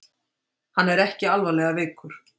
Hann er ekki alvarlega veikur